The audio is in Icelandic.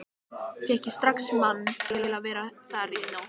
Fékk ég strax mann til að vera þar í nótt.